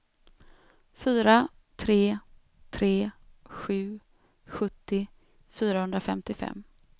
fyra tre tre sju sjuttio fyrahundrafemtiofem